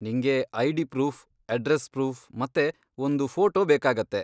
ನಿಂಗೆ ID proof, address proof ಮತ್ತೆ ಒಂದು ಫೋಟೋ ಬೇಕಾಗತ್ತೆ.